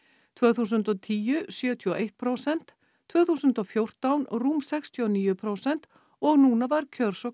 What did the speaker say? tvö þúsund og tíu sjötíu og eitt prósent tvö þúsund og fjórtán rúm sextíu og níu prósent og núna var kjörsókn